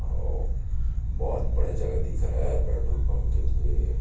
औ बहुत बड़ा जगह दिख रहा है पेट्रोल पंप के लिए --